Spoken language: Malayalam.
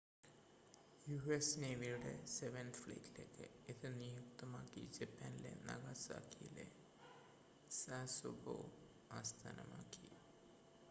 യുഎസ് നേവിയുടെ സെവൻത് ഫ്ലീറ്റിലേക്ക് ഇത് നിയുക്തമാക്കി ജപ്പാനിലെ നാഗസാക്കിയിലെ സാസെബോ ആസ്ഥാനമാക്കി